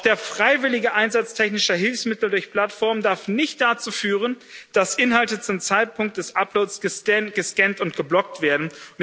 Auch der freiwillige Einsatz technischer Hilfsmittel durch Plattformen darf nicht dazu führen, dass Inhalte zum Zeitpunkt des Uploads gescannt und geblockt werden.